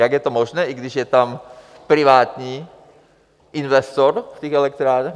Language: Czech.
Jak je to možné, i když je tam privátní investor v těch elektrárnách?